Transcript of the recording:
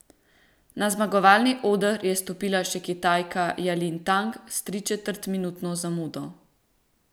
Na zmagovalni oder je stopila še Kitajka Jalin Tang s tričetrtminutno zamudo.